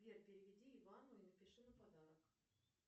сбер переведи ивану и напиши на подарок